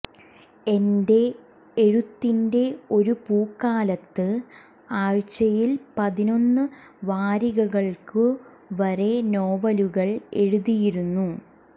എന്റെ എഴുത്തിന്റെ ഒരു പൂക്കാലത്ത് ആഴ്ചയിൽ പതിനൊന്ന് വാരികകൾക്കു വരെ നോവലുകൾ എഴുതിയിരുന്നു